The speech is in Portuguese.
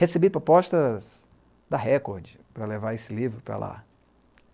Recebi propostas da Record para levar esse livro para lá.